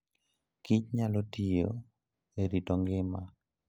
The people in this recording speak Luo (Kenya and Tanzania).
Kich nyalo tiyo e rito ngima.